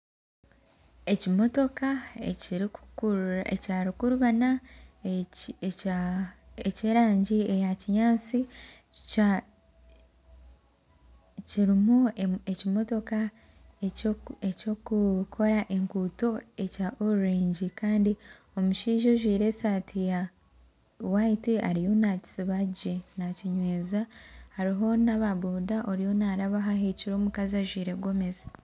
Ekimotoka ekya rukururana eky'erangi ya kinyansi kirumu ekimotoka ekyokukora enguuto ekya orurengi Kandi omushaija ojwire esaati ya hwayiti ariyo nakisiba gye nakinyweza hariho naba boda oriyo narabaho ahikire omukazi ajwire gomesi.